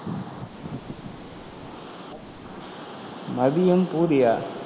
மதியம் பூரியா